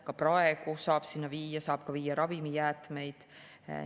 Ka praegu saab sinna viia ka ravimijäätmeid.